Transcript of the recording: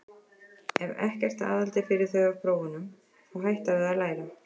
Ef ekkert aðhald er fyrir þau af prófunum, þá hætta þau að læra.